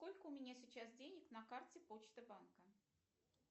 сколько у меня сейчас денег на карте почта банка